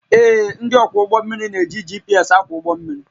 Ee, ndị ọkwọ ụgbọ mmiri na-eji GPS akwọ ụgbọ mmiri